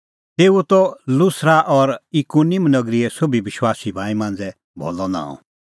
तेऊओ त लुस्रा और इकुनिम नगरीए सोभी विश्वासी भाई मांझ़ै भलअ नांअ